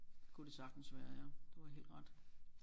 Kunne det sagtens være ja du har helt ret